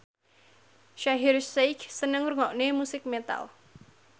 Shaheer Sheikh seneng ngrungokne musik metal